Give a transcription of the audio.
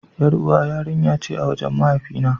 Yar'uwa yarinya ce a wajen mahaifi na.